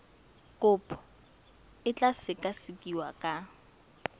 kopo e tla sekasekiwa ka